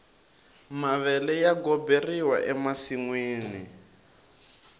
mavele ya goberiwa ensinwini